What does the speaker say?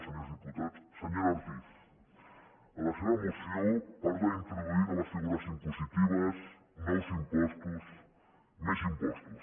senyora ortiz en la seva moció parla d’introduir noves figures impositives nous impostos més impostos